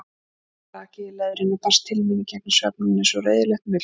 Brakið í leðrinu barst til mín í gegnum svefninn eins og reiðilegt muldur.